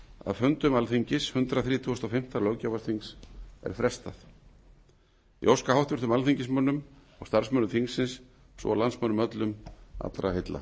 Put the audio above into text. fundum alþingis hundrað þrítugasta og fimmta löggjafarþings er frestað ég óska háttvirtum alþingismönnum og starfsmönnum þingsins svo og landsmönnum öllum allra heilla